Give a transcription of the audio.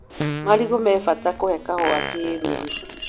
Marigũ me bata kũhe kahũa kĩruru.